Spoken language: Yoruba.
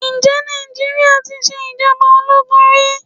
Ǹjẹ́ Nàìjíríà tí ṣe ìjọba ológun rí?